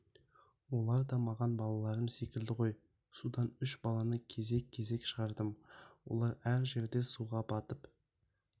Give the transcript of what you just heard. олар да маған балаларым секілді ғой судан үш баланы кезек-кезек шығардым олар әр жерде суға батып